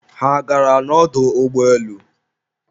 ha a gara n'ọdọ ụgbọelu?